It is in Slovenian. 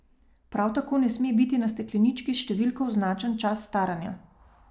Prav tako ne sme biti na steklenički s številko označen čas staranja.